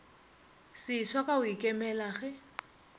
seswa ka go ikemela ge